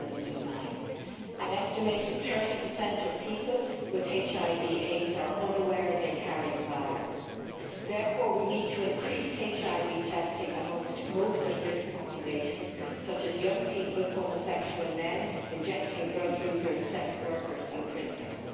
2009. An estimated 30 of people with HIV AIDS are unaware they carry the virus. Therefore we need to increase HIV testing amongst most at risk populations, such as young people, homosexual men, injecting drug users, sex workers and prisoners.